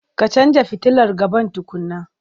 Ka canja futilar gaban tukunna.